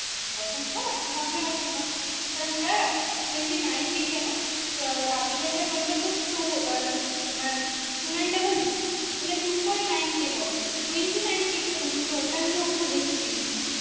boyfriend ছিল না তো নাম ধরে ডাকতাম না বললাম sir twenty nine k কেন article টার number তো two তোমার two nine double jero তা হলে two point nine k হবে twenty nine k কেন তো ওটা নিয়ে ও খুব হেসেছি